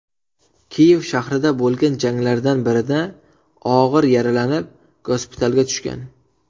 Kiyev shahrida bo‘lgan janglardan birida og‘ir yaralanib, gospitalga tushgan.